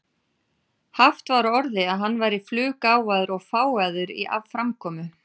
Haft var á orði að hann væri fluggáfaður og fágaður í framkomu.